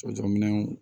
Surakaminɛnw